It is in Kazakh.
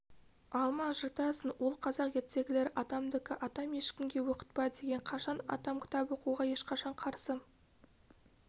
алма жыртасың ол қазақ ертегілері атамдікі атам ешкімге оқытпа деген қашан атам кітап оқуға ешқашан қарсы